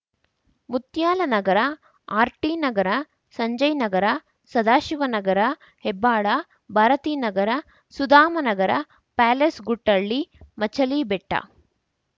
Muthyalanagar R T Nagar Sanjay Nagar Sadashivanagar Hebbal Bharathi Nagar Sudhamanagar Palace Guttahalli Machalibetta